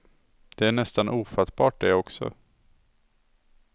Det är nästan ofattbart det också.